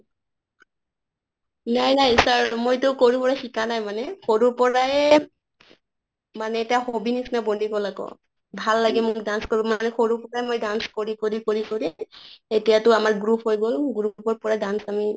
নাই নাই sir, মইতো কৰো পৰা শিকা নাই মানে সৰুৰ পৰায়ে মানে এতিয়া hobby নিছিনা বনি গʼল আকৌ। ভাল লাগে মোক dance কৰিব সৰু মই dance কৰি কৰি কৰি কৰি এতিয়াতো আমাৰ group হৈ গʼল। group ৰ পৰা dance আমি